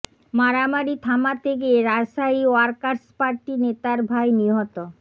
মারামারি থামাতে গিয়ে রাজশাহী ওয়ার্কার্স পার্টি নেতার ভাই নিহত